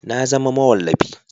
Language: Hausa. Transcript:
Na zama mawallafi